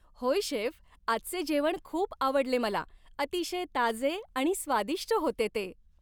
होय, शेफ, आजचे जेवण खूप आवडले मला. अतिशय ताजे आणि स्वादिष्ट होते ते.